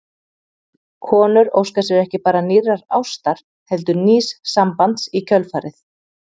Konur óska sér ekki bara nýrrar ástar heldur nýs sambands í kjölfarið.